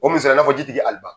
O misaliya i n'a fɔ jitigi Aliba.